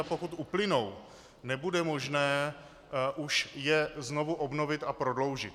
A pokud uplynou, nebude možné už je znovu obnovit a prodloužit.